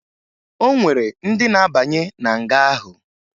O nwere ndị na-abanye na nga ahụ